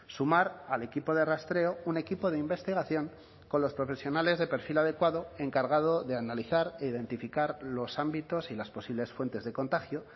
sumar al equipo de rastreo un equipo de investigación con los profesionales de perfil adecuado encargado de analizar e identificar los ámbitos y las posibles fuentes de contagio